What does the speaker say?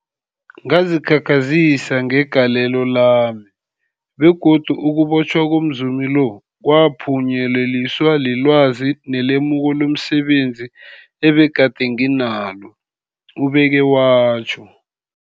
Ngazikhakhazisa ngegalelo lami, begodu ukubotjhwa komzumi lo kwaphunyeleliswa lilwazi nelemuko lomse benzi ebegade nginalo, ubeke watjho.